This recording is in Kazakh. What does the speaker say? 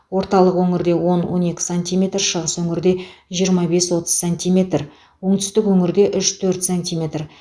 орталық өңірде он он екі сантиметр шығыс өңірде жиырма бес отыз сантиметр оңтүстік өңірде үш төрт сантиметр